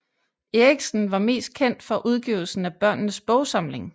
Erichsen var mest kendt for udgivelsen af Børnenes Bogsamling